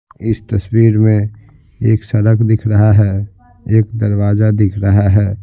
इस तस्वीर में एक सड़क दिख रहा है एक दरवाजा दिख रहा है।